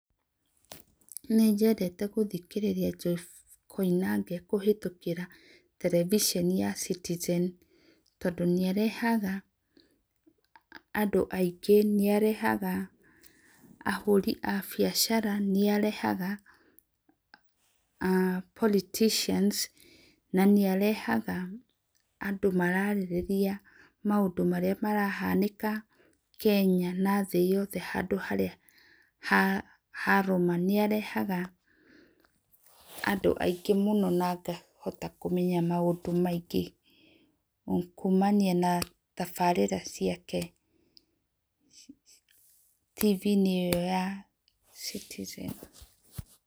Nĩnjendete gũthĩkĩrĩra Jeiff Koinange kũhĩtũkĩra terebiceni ya Citizen tondũ nĩarehaga andũ aĩngĩ nĩarehaga ahũrĩ a biacara, nĩarehaga aah politicians na nĩarehaga andũ maraarĩrĩria maũndũ marĩa marahanĩka Kenya na thĩ yothe handũ harĩa haroma, nĩarehaga andũ aĩngĩ mũno na ngahota kũmenya maũndũ maĩngĩ kũmanĩa na tabarĩra ciakeT.V inĩ ĩyo ya Citizen.